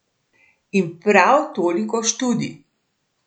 In prav toliko študij.